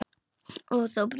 Og þú brosir.